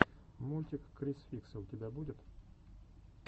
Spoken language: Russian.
мультик криз фикса у тебя будет